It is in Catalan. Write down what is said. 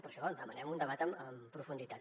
per això demanem un debat en profunditat